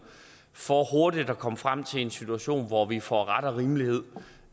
for hurtigt at komme frem til en situation hvor vi får ret og rimelighed